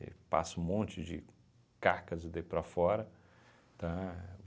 E passa um monte de cacas e daí para fora, tá?